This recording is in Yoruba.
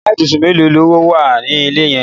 Yàrá ibùsùn mélòó lówà ni ilé yín?